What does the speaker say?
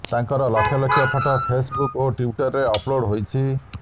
ତାଙ୍କର lakh lakh photo Facebook ଓ ଟ୍ୱିଟରରେ ଅପ୍ଲୋଡ୍ ହେଉଛି